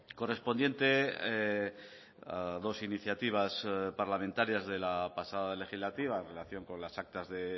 correspondiente a dos iniciativas parlamentarias de la pasada legislatura en relación con las actas de